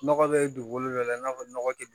Nɔgɔ bɛ dugukolo dɔ la i n'a fɔ nɔgɔ tɛ